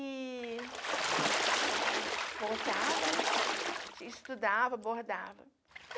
E voltava, né, estudava, bordava.